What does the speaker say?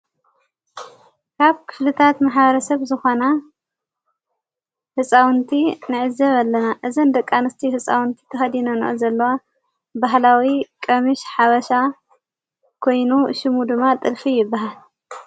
ካብ ክፍልታት ማህበ ረሰብ ዝዃና ሕፃውንቲ ንዕዘብ ኣለና እዘን ደቃንስቲ ሕፃውንቲ ተሃዲነኖ ዘለዋ ባህላዊ ቀምሽ ሓወሻ ጐይኑ ሹሙ ድማ ጥልፊ ይብሃል::